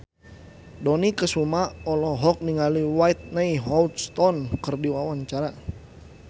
Dony Kesuma olohok ningali Whitney Houston keur diwawancara